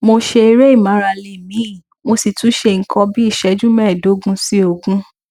mo ṣe eré ìmárale míímí mo sì tún ṣe nǹkan bí iṣẹju mẹẹẹdógún sí ogún